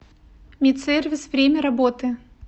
медсервис время работы